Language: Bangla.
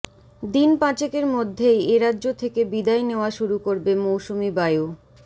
দিন পাঁচেকের মধ্যেই এরাজ্য থেকে বিদায় নেওয়া শুরু করবে মৌসুমি বায়ু